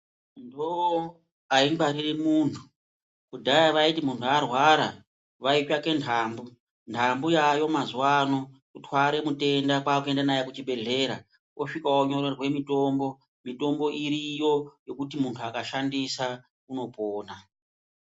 Nhoo aingwariri muntu. Kudhaya vaiti kana muntu arwara vaitsvake ntambu. Ntambu yaayo mazuwa ano kurwara mutenda moenda naye kuchibhedhlera osvika onyorerwe mitombo. Mitombo iriyo yekuti muntu akashandisa anopona.